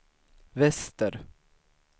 väster